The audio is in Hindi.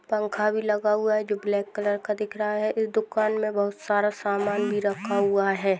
पंखा भी लगा हुआ है जो ब्लॅक कलर का दिख रहा है इस दुकान में बहुत सारा सामान भी रखा हुआ है।